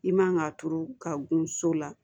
I man ka turu ka gun so la